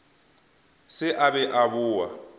se a be a boa